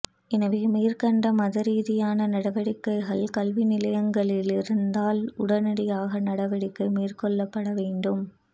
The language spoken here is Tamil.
எனவே மேற்கண்ட மத ரீதியான நடவடிக்கைகள் கல்வி நிலையங்களில் இருந்தால் உடனடியாக நடவடிக்கை மேற்கொள்ளப்பட வேண்டும்